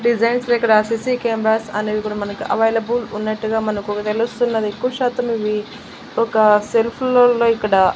designs లో ఇక్కడ CC cameras అనేది కూడ మనకి అవైలబుల్ ఉన్నట్టుగా మనకు తెలుస్తున్నది ఎక్కువ శాతం ఇవి ఒక సెల్ఫుల్లు లో ఇక్కడా--